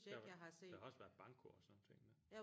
Der var der har også været banko og sådan nogle ting der